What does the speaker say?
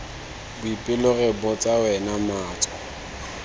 boipelo re botsa wena matso